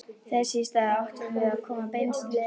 Þess í stað áttum við að koma beinustu leið heim.